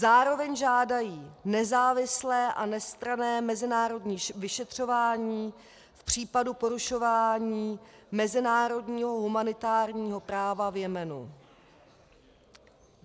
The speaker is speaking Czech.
Zároveň žádají nezávislé a nestranné mezinárodní vyšetřování v případu porušování mezinárodního humanitárního práva v Jemenu.